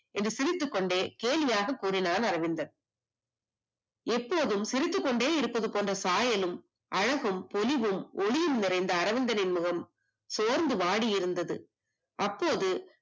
என்று சிரித்துக் கொண்டே கேலியாக கூறினான் அரவிந்தன் எப்போதும் சிரித்துக் கொண்டே இருக்கின்ற சாயலும் அழகும் பொலிவும் ஒளியும் நிறைந்த அரவிந்து நின் முகம் சோர்ந்து வாடி இருந்தது அப்போது